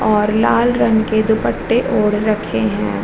और लाल रंग के दुपट्टे ओढ़ रखे हैं।